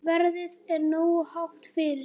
Verðið er nógu hátt fyrir.